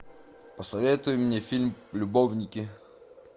посоветуй мне фильм любовники